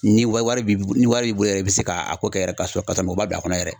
Ni wari wari b'i bolo ni wari b'i bolo yɛrɛ i bɛ se ka a ko kɛ yɛrɛ ka sɔrɔ ka sɔrɔ man bili